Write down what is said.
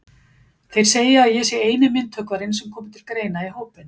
Þeir segja að ég sé eini myndhöggvarinn sem komi til greina í hópinn.